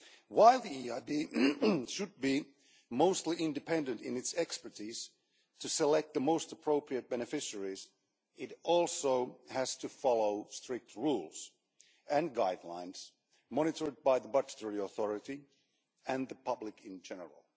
While the EIB should be mostly independent in its expertise to select the most appropriate beneficiaries, it also has to follow strict rules and guidelines monitored by the budgetary authority and the public in general.